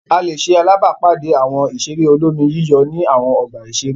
A lè ṣe alábàápàdé Àwọn ìṣeré olómi-yíyọ̀ ní àwọn ọgbà-ìṣeré.